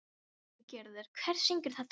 Sólgerður, hver syngur þetta lag?